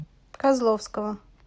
козловского